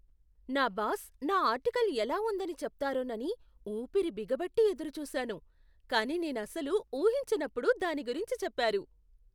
నా బాస్ నా ఆర్టికల్ ఎలా ఉందని చెప్తారోనని ఊపిరి బిగబట్టి ఎదురుచూసాను, కానీ నేనసలు ఊహించనప్పుడు దాని గురించి చెప్పారు.